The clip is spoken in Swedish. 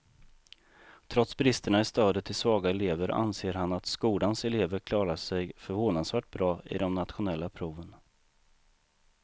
Trots bristerna i stödet till svaga elever anser han att skolans elever klarar sig förvånansvärt bra i de nationella proven.